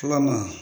Fo ka na